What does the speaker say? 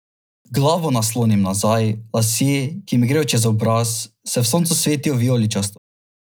Glavo naslonim nazaj, lasje, ki mi grejo čez obraz, se v soncu svetijo vijoličasto.